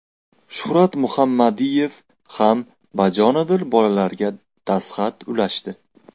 Shuhrat Muhammadiyev ham bajonidil bolalarga dastxat ulashdi.